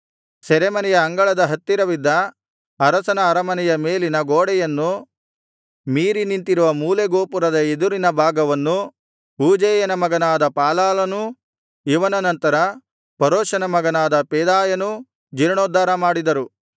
ಸೆರೆಮನೆಯ ಅಂಗಳದ ಹತ್ತಿರವಿದ್ದ ಅರಸನ ಅರಮನೆಯ ಮೇಲಿನ ಗೋಡೆಯನ್ನು ಮೀರಿನಿಂತಿರುವ ಮೂಲೆ ಗೋಪುರದ ಎದುರಿನ ಭಾಗವನ್ನು ಊಜೈಯನ ಮಗನಾದ ಪಾಲಾಲನೂ ಇವನ ನಂತರ ಪರೋಷನ ಮಗನಾದ ಪೆದಾಯನೂ ಜೀರ್ಣೋದ್ಧಾರ ಮಾಡಿದರು